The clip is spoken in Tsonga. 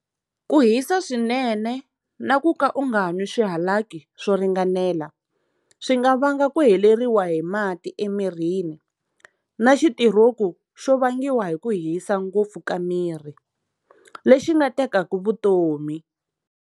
Ku hisa swinene na ku ka u nga nwi swihalaki swo ringanela swi nga vanga ku heleriwa hi mati emirini na xitiroku xo vangiwa hi ku hisa ngopfu ka miri, lexi xi nga tekaka vutomi.